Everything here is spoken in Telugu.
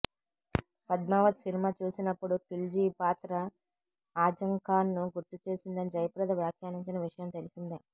పద్మావత్ సినిమా చూసినప్పుడు ఖిల్జీ పాత్ర ఆజంఖాన్ను గుర్తు చేసిందని జయప్రద వ్యాఖ్యానించిన విషయం తెలిసిందే